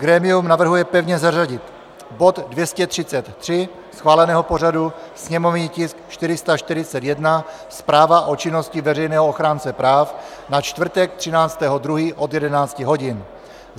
Grémium navrhuje pevně zařadit bod 233 schváleného pořadu - sněmovní tisk 441, zpráva o činnosti veřejného ochránce práv, na čtvrtek 13. 2. od 11 hodin.